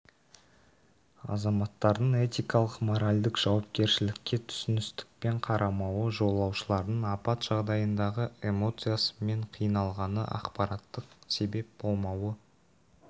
азаматтардың этикалық-моральдық жауапкершілікке түсіністікпен қарамауы жолаушылардың апат жағдайындағы эмоциясы мен қиналғаны ақпараттық себеп болмауы